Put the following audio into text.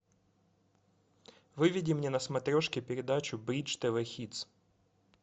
выведи мне на смотрешке передачу бридж тв хитс